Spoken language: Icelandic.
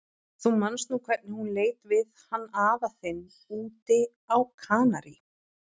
Þú manst nú hvernig hún lét við hann afa þinn úti á Kanarí.